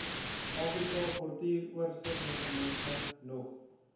afrika portuuroorsigmeganisme nog